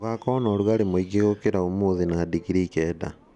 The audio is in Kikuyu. Gũgakorũo na ũrugarĩ mũingĩ gũkĩra ũmũthĩ na digrii kenda